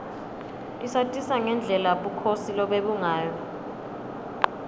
isatisa ngendlela bukhosi lobebungayo